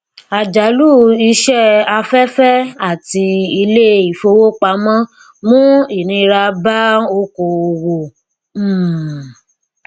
àjálù iṣẹ afẹfẹ àti iléifowopamọ mú ìnira bá oko owó um